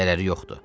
Zərəri yoxdur.